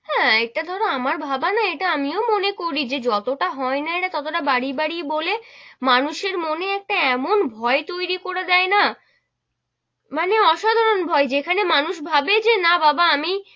হেঁ, ইটা ধরো আমার ভাবা না ইটা আমিও মনে করে যে যতো টা হয় না এরা ততোটা বাড়িয়ে বাড়িয়ে বলে, মানুষের মনে একটা এমন ভয় তৈরী করে দেয় না, মানে অসাধারণ ভয় যেখানে মানুষ ভাবে যে না বাবা আমি,